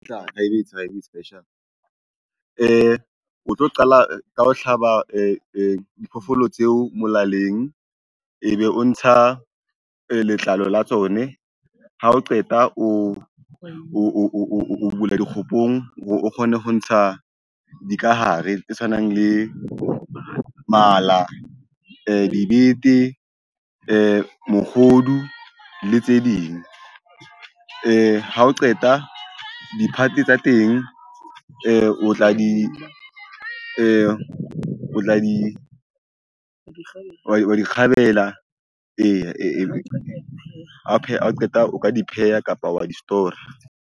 O tlo qala ka ho hlaba diphoofolo tseo molaleng. Ebe o ntsha letlalo la tsone ha o qeta o bula dikgophong, o kgone ho ntsha dikahare tse tshwanang le mala, dibete, mohodu le tse ding. Ha o qeta di-part tsa teng o tla di kgabela ha o qeta o ka di pheha kapa wa di-store-ra